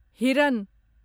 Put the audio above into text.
हिरन